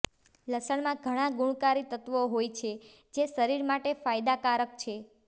લસણમાં ઘણા ગુણકારી તત્વો હોય છે જે શરીર માટે ફાયદાકારક છે